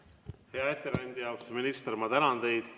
Hea ettekandja, austatud minister, ma tänan teid!